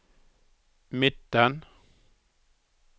midten